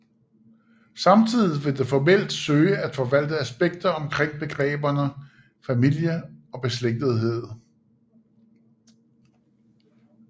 Samtidigt vil det formelt søge at forvalte aspekter omkring begreberne familie og beslægtethed